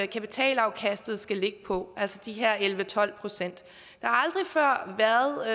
kapitalafkastet skal ligge på altså de her elleve tolv procent der